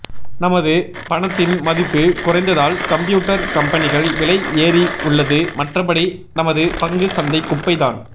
நமது பணத்தின் மதிப்பு குறைந்ததால் கம்ப்யூட்டர் கம்பனிகள் விலை ஏறி உள்ளது மற்றபடி நமது பங்கு சந்தை குப்பை தான்